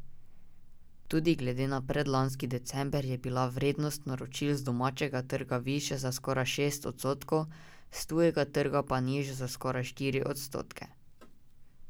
Tudi glede na predlanski december je bila vrednost naročil z domačega trga višja za skoraj šest odstotkov, s tujega trga pa nižja za skoraj štiri odstotke.